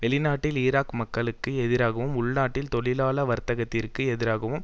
வெளிநாட்டில் ஈராக் மக்களுக்கு எதிராகவும் உள்நாட்டில் தொழிலாள வர்க்கத்திற்கு எதிராகவும்